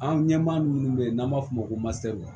An ɲɛmaa minnu bɛ yen n'an b'a f'o ma ko